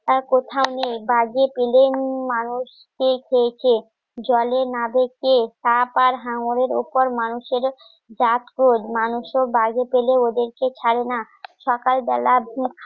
আর কোথাও নেই মানুষকে খেয়েছে জলে না দেখে কাপ আর হাঙ্গরের উপর মানুষের জাত খোঁজ মানুষ ও বাইরে ফেলে ওদেরকে ছাড়ে না সকাল বেলা